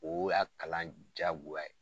O y'a kalan jagoya ye.